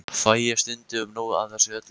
Fæ ég stundum nóg af þessu öllu?